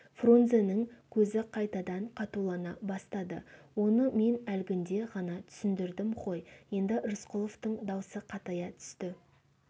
фрунзенің көзі қайтадан қатулана бастады оны мен әлгінде ғана түсіндірдім ғой енді рысқұловтың даусы қатая түсті